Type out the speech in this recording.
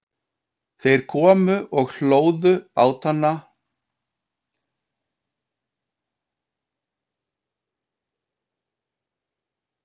Þeir komu og hlóðu báða bátana svo að nær voru sokknir.